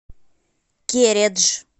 кередж